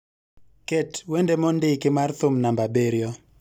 Ket wende mondiki mar thum namba abiriyo